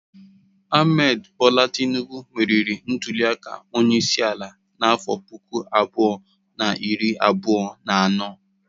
Ahmed Bola Tinubu meriri ntuliaka onyeisiala n'afọ puku abụọ na iri abụọ na atọ.